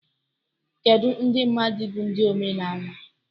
Kedu ndị mmadụ bụ ndị omenala?